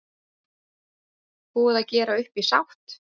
Búið að gera upp í sátt